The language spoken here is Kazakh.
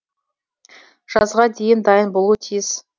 жазға дейін дайын болуы тиіс